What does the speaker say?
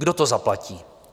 Kdo to zaplatí?